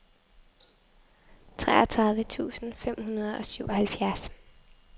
toogtredive tusind fem hundrede og syvoghalvfjerds